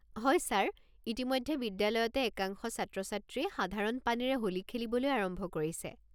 হয় ছাৰ, ইতিমধ্যে বিদ্যালয়তে একাংশ ছাত্ৰ-ছাত্ৰীয়ে সাধাৰণ পানীৰে হোলী খেলিবলৈ আৰম্ভ কৰিছে!